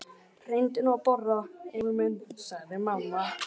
Reyndu nú að borða, Emil minn, sagði mamma.